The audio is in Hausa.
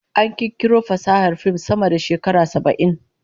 An kirkiro fasahar fim sama da shekara saba'in